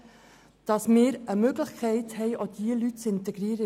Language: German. Wir brauchen eine Möglichkeit, auch diese Leute in die Wirtschaft zu integrieren.